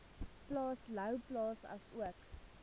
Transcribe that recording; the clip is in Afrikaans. plaas louwplaas asook